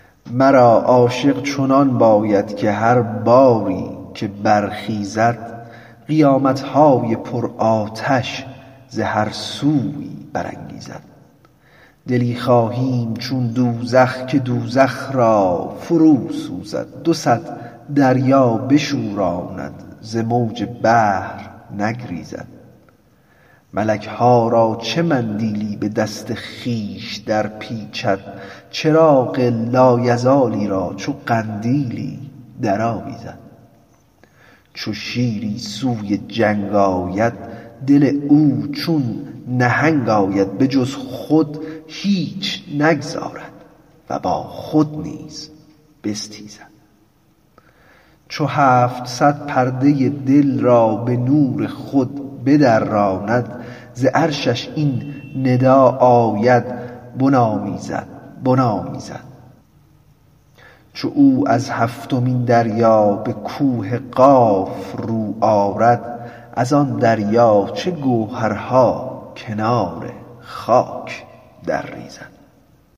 مرا عاشق چنان باید که هر باری که برخیزد قیامت های پرآتش ز هر سویی برانگیزد دلی خواهیم چون دوزخ که دوزخ را فروسوزد دو صد دریا بشوراند ز موج بحر نگریزد ملک ها را چه مندیلی به دست خویش درپیچد چراغ لایزالی را چو قندیلی درآویزد چو شیری سوی جنگ آید دل او چون نهنگ آید به جز خود هیچ نگذارد و با خود نیز بستیزد چو هفت صد پرده ی دل را به نور خود بدراند ز عرشش این ندا آید بنامیزد بنامیزد چو او از هفتمین دریا به کوه قاف رو آرد از آن دریا چه گوهرها کنار خاک درریزد